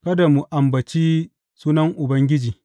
Kada mu ambaci sunan Ubangiji.